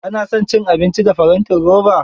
Ka na son cin abinci a farantin roba?